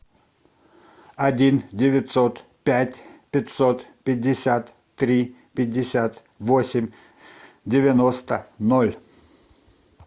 один девятьсот пять пятьсот пятьдесят три пятьдесят восемь девяносто ноль